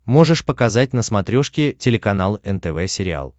можешь показать на смотрешке телеканал нтв сериал